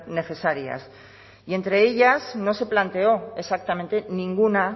necesarias y entre ellas no se planteó exactamente ninguna